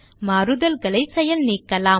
மாறுதல்களை செயல் நீக்கலாம்